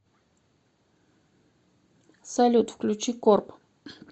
салют включи корп